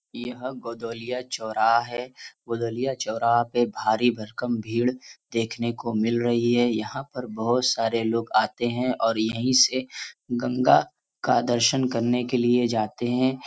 यह गोदवलिया चौराहा है गोदवलिया चौराहा पे भारी-भरकम भीड़ देखने को मिल रही हैं यहाँ पर बहुत सारे लोग आते हैं और यहीं से गंगा का दर्शन के लिए जाते हैं ।